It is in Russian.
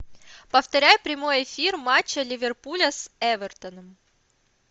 повторяй прямой эфир матча ливерпуля с эвертоном